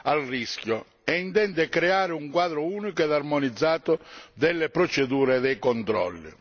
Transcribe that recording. al rischio ed intende creare un quadro unico e armonizzato delle procedure e dei controlli.